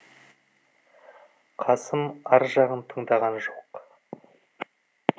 қасым ар жағын тыңдаған жоқ